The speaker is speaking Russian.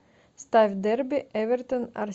ставь дерби эвертон